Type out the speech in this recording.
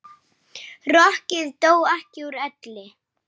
Rokkið dó ekki úr elli.